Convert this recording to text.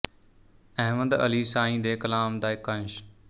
ਅਹਿਮਦ ਅਲੀ ਸਾਈਂ ਦੇ ਕਲਾਮ ਦਾ ਇੱਕ ਅੰਸ਼